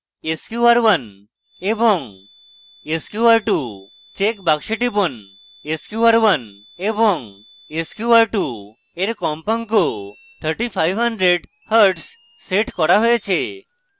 sqr1 এবং sqr2 check বাক্সে টিপুন sqr1 এবং sqr2 এর কম্পাঙ্ক 3500hz set করা হয়েছে